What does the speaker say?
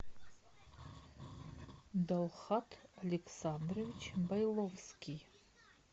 далхат александрович байловский